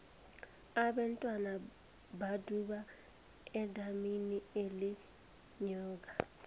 abentwana baduda edamini elinenyoka